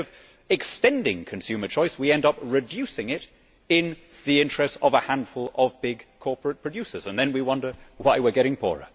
Instead of extending consumer choice, we end up reducing it in the interests of a handful of big corporate producers, and then we wonder why we are getting poorer.